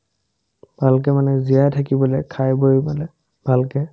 ভালকে মানে জীয়াই থাকিবলে খাই বৈ মানে ভালকে